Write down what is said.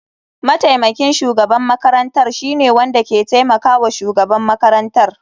Mataimakin shugaban makarantar shine wanda ke taimakawa shugaban makarantar.